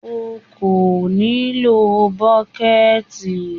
O kò nílò bọ́kẹ́ẹ̀tì.